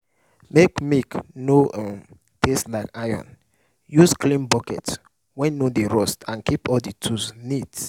make milk no um taste like iron use clean bucket wey no dey rust and keep all your tools neat.